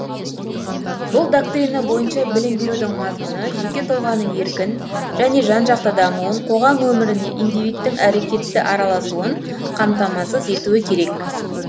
бұл доктрина бойынша білім берудің мазмұны жеке тұлғаның еркін және жан жақты дамуын қоғам өміріне индивидтің әрекетті араласуын қамтамасыз етуі керек